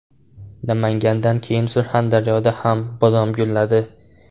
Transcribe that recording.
Namangandan keyin Surxondaryoda ham bodom gulladi .